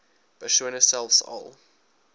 persone selfs al